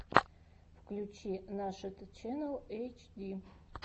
включи нашид ченнал эйчди